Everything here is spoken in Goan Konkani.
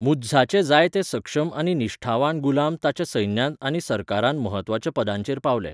मुइझाचे जायते सक्षम आनी निश्ठावान गुलाम ताच्या सैन्यांत आनी सरकारांत म्हत्वाच्या पदांचेर पावले.